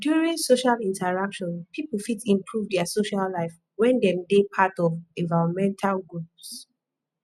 during social interaction people fit improve their social life when dem dey part of environmental groups